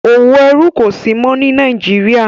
òwò ẹrú kò sí mọ́ ní Nàìjíríà.